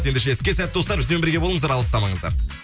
ендеше іске сәт достар бізбен бірге болыңыздар алыстамаңыздар